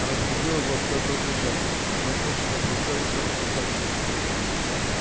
разбудил его всё тот же женька тряхнувший за плечо и шёпотом сообщивший